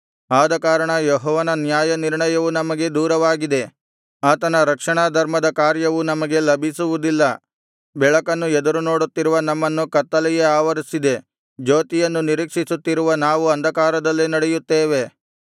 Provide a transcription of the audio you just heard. ಆದಕಾರಣ ಯೆಹೋವನ ನ್ಯಾಯನಿರ್ಣಯವು ನಮಗೆ ದೂರವಾಗಿದೆ ಆತನ ರಕ್ಷಣಾಧರ್ಮದ ಕಾರ್ಯವು ನಮಗೆ ಲಭಿಸುವುದಿಲ್ಲ ಬೆಳಕನ್ನು ಎದುರುನೋಡುತ್ತಿರುವ ನಮ್ಮನ್ನು ಕತ್ತಲೆಯೇ ಆವರಿಸಿದೆ ಜ್ಯೋತಿಯನ್ನು ನಿರೀಕ್ಷಿಸುತ್ತಿರುವ ನಾವು ಅಂಧಕಾರದಲ್ಲೇ ನಡೆಯುತ್ತೇವೆ